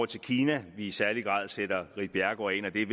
til kina vi i særlig grad sætter ritt bjerregaard ind